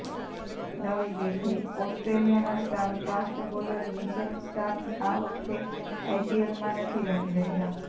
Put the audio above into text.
નવી દિલ્હીઃ ઓસ્ટ્રેલિયાના star fast bowler Mitchell Starc આ વખતે આઈપીએલમાં નથી રમી રહ્યા